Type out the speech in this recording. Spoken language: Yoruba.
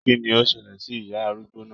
Kínní o ṣẹlẹ sí ìyá arúgbó náà?